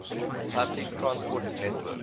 public transport network